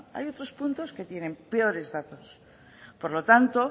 hay otros puntos que tienen peores datos por lo tanto